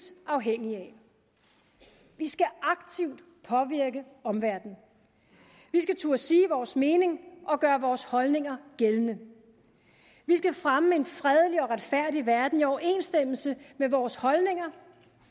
afhængige af vi skal aktivt påvirke omverdenen vi skal turde sige vores mening og gøre vores holdninger gældende vi skal fremme en fredelig og retfærdig verden i overensstemmelse med vores holdninger